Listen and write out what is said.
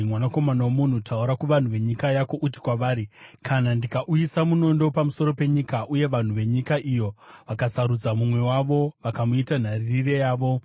“Mwanakomana womunhu, taura kuvanhu venyika yako uti kwavari: ‘Kana ndikauyisa munondo pamusoro penyika, uye vanhu venyika iyo vakasarudza mumwe wavo vakamuita nharirire yavo,